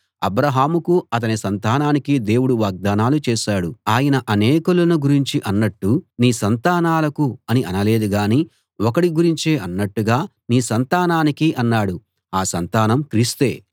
అబ్రాహాముకూ అతని సంతానానికీ దేవుడు వాగ్దానాలు చేశాడు ఆయన అనేకులను గురించి అన్నట్టు నీ సంతానాలకు అని అనలేదు గానీ ఒకడి గురించి అన్నట్టుగా నీ సంతానానికి అన్నాడు ఆ సంతానం క్రీస్తే